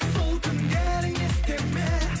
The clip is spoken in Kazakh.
сол түндерің есте ме